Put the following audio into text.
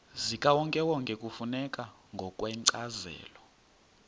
zikawonkewonke kufuneka ngokwencazelo